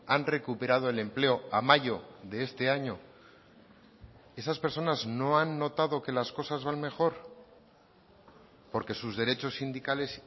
han recuperado el empleo a mayo de este año esas personas no han notado que las cosas van mejor porque sus derechos sindicales